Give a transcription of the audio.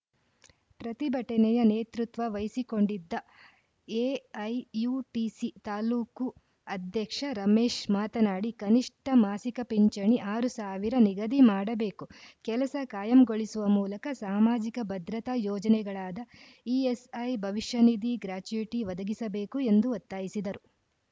ಪ್ರತಿಭಟನೆಯ ನೇತೃತ್ವ ವಹಿಸಿಕೊಂಡಿದ್ದ ಎಐಯುಟಿಸಿ ತಾಲೂಕು ಅಧ್ಯಕ್ಷ ರಮೇಶ್‌ ಮಾತನಾಡಿ ಕನಿಷ್ಠ ಮಾಸಿಕ ಪಿಂಚಣಿ ಆರು ಸಾವಿರ ನಿಗದಿಮಾಡಬೇಕು ಕೆಲಸ ಕಾಯಂಗೊಳಿಸುವ ಮೂಲಕ ಸಾಮಾಜಿಕ ಭದ್ರತಾ ಯೋಜನೆಗಳಾದ ಇಎಸ್‌ಐ ಭವಿಷ್ಯನಿಧಿ ಗ್ರಾಚ್ಯುಟಿ ಒದಗಿಸಬೇಕು ಎಂದು ಒತ್ತಾಯಿಸಿದರು